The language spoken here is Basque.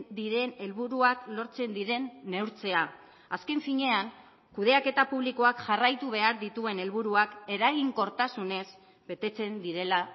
diren helburuak lortzen diren neurtzea azken finean kudeaketa publikoak jarraitu behar dituen helburuak eraginkortasunez betetzen direla